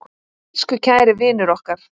Elsku kæri vinur okkar.